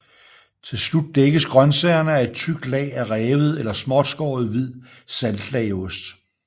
Til slut dækkes grønsagerne af et tykt lag af revet eller småtskårent hvid saltlageost